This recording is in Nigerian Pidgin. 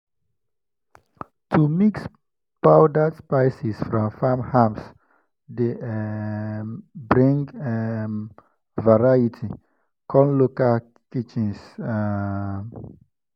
to mix powdered spices from farm herbs dey um bring um variety come local kitchens. um